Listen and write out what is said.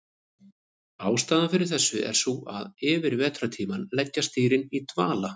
Ástæðan fyrir þessu er sú að yfir vetrartímann leggjast dýrin í dvala.